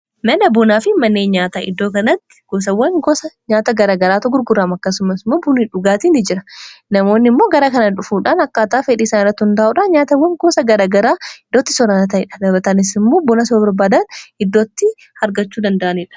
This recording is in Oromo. mana buunaa fi mannee nyaata iddoo kanaatti goosawwan goosa nyaata gara garaato gurguraam akkasumasimmoo bunii dhugaatiini jira namoonni immoo garaa kanaa dhufuudhaan akkaataa fedhiisaan irratt hundaa'uudhaan nyaatawwan goosa garagaraa iddootti soraanaa tadha labatanisimuu bona s barbaadan iddootti argachuu danda'aniidha